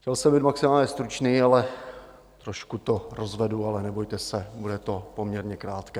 Chtěl jsem být maximálně stručný, ale trošku to rozvedu, ale nebojte se, bude to poměrně krátké.